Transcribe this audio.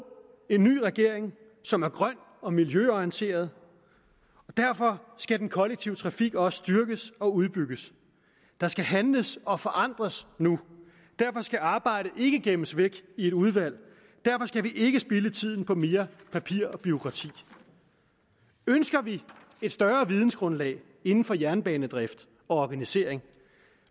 en ny regering som er grøn og miljøorienteret derfor skal den kollektive trafik også styrkes og udbygges der skal handles og forandres nu derfor skal arbejdet ikke gemmes væk i et udvalg derfor skal vi ikke spilde tiden på mere papir og bureaukrati ønsker vi et større vidensgrundlag inden for jernbanedrift og organisering